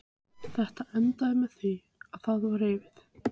Þetta endaði með því að það var rifið.